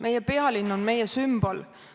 Meie pealinn on meie sümbol.